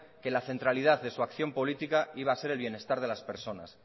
que la centralidad de su acción política iba a ser el bienestar de las persona